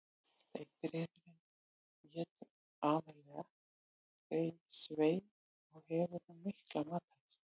Steypireyðurin étur aðallega svif og hefur hún mikla matarlyst.